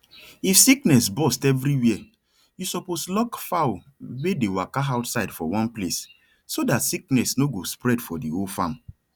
if sickness burst everywere you suppose lock fowl were the waka outside for one place so that sickness no go spread for the whole farm